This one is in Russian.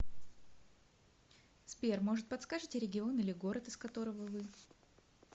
сбер может подскажите регион или город из которого вы